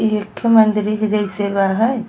इ एकठो मंदिरी के जैसे बा है।